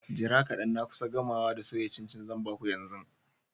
Jira kadan na kusa gamawa da soya cin-cin zan ba ku yanzu.